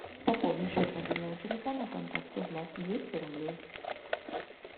пополнить счет мобильного телефона контакту влад двести рублей